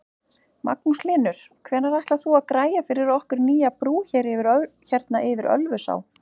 Magnús Hlynur: Hvenær ætlar þú að græja fyrir okkur nýja brú hérna yfir Ölfusá?